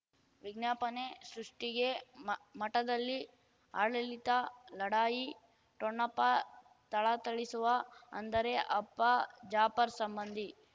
ವಿಜ್ಞಾಪನೆ ಸೃಷ್ಟಿಗೆ ಮ ಮಠದಲ್ಲಿ ಆಡಳಿತ ಲಢಾಯಿ ಠೊಣಪ ಥಳಥಳಿಸುವ ಅಂದರೆ ಅಪ್ಪ ಜಾಪರ್ ಸಂಬಂಧಿ